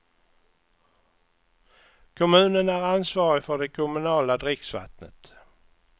Kommunen är ansvarig för det kommunala dricksvattnet.